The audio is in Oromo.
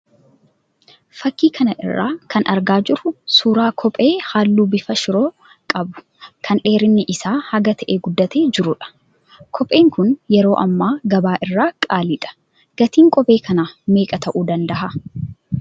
Fakkii kana irraa kan argaa jirru suuraa kophee halluu bifa 'Shiroo' qabu kan dheerinni isaa hanga ta'e guddatee jiruudha. Kopheen kun yeroo hammaa gabaa irraa qaaliidha. Gatiin kophee kanaa meeqa ta'uu danda'aa?